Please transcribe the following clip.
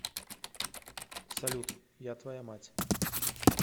салют я твоя мать